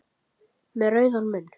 Með rauðan munn.